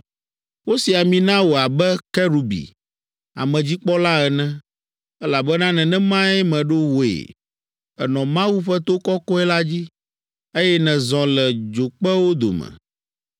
Wosi ami na wò abe kerubi, amedzikpɔla ene, elabena nenemae meɖo wòe. Ènɔ Mawu ƒe to kɔkɔe la dzi, eye nèzɔ le dzokpewo dome.